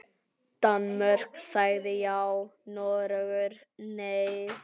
Danmörk sagði já, Noregur nei.